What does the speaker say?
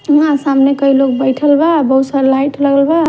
उहाँ सामने कई लोग बैठल बा बहुत सारा लाइट लगल बा --